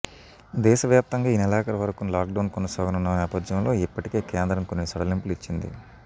దేశవ్యాప్తంగా ఈ నెలాఖరు వరకు లాక్డౌన్ కొనసాగనున్న నేపథ్యంలో ఇప్పటికే కేంద్రం కొన్ని సడలింపులు ఇచ్చింది